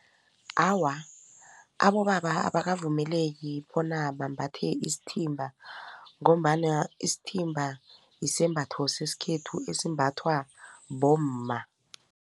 Awa, abobaba abakavumeleki bona bambathe isithimba ngombana isithimba isembatho sesikhethu esimbathwa bomma.